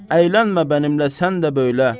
Əylənmə mənimlə sən də böylə.